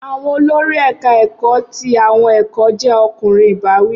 Awọn olori eka eko ti awọn ẹkọ jẹ ọkunrin ibawi